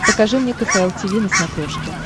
покажи мне кхл тиви на смотрешке